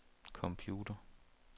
computer